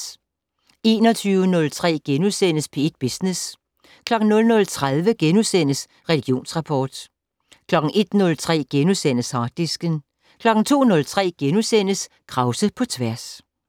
21:03: P1 Business * 00:30: Religionsrapport * 01:03: Harddisken * 02:03: Krause på tværs *